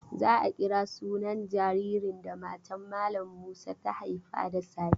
Za a kira sunan jaririn da matan malam Musa ta haifa da safe.